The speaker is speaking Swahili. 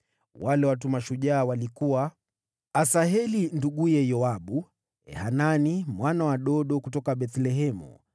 Wale watu mashujaa walikuwa: Asaheli nduguye Yoabu, Elhanani mwana wa Dodo kutoka Bethlehemu,